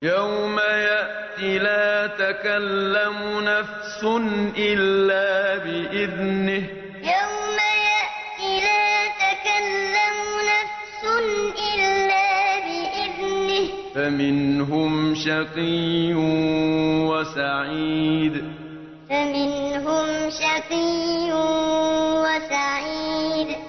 يَوْمَ يَأْتِ لَا تَكَلَّمُ نَفْسٌ إِلَّا بِإِذْنِهِ ۚ فَمِنْهُمْ شَقِيٌّ وَسَعِيدٌ يَوْمَ يَأْتِ لَا تَكَلَّمُ نَفْسٌ إِلَّا بِإِذْنِهِ ۚ فَمِنْهُمْ شَقِيٌّ وَسَعِيدٌ